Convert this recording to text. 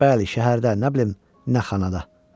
Bəli, şəhərdə, nə bilim, nə xanada.